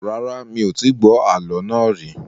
Rárá, mi ò tí gbọ́ àálọ́ náà rì